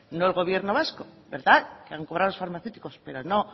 no el gobierno vasco verdad que han cobrado las farmacéuticas pero no